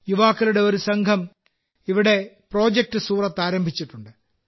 യുവാക്കളുടെ ഒരു സംഘം ഇവിടെ പ്രോജക്റ്റ് സൂറത്ത് ആരംഭിച്ചിട്ടുണ്ട്